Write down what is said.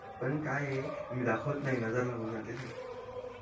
पण काय ये मी दाखवत नाही नजर लागून जाते ना